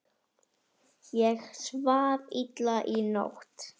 Ég svaf illa í nótt.